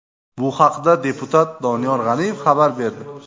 Bu haqda deputat Doniyor G‘aniyev xabar berdi.